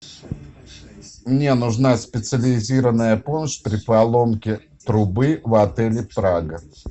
мне нужна специализированная помощь при поломке трубы в отеле прага